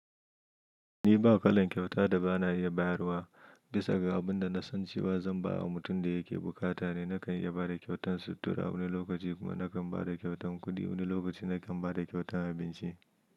Ni ba kalan kyauta da ba na iya bayarwa bisa ga abin da na san cewa zan ba wa mutum da yake bukata ne. Nakan iya ba da kyautan sutura wani lokaci kuma nakan ba da kyautan kuɗi, wani lokaci nakan ba da kyautan abinci.